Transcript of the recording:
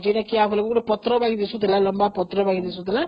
ଯେ କିଆଫୁଲଟା ଗୋଟେ ପତ୍ର ଭଳି ଦିଶୁଥିଲା, ଲମ୍ବା ପତ୍ର ଭଳି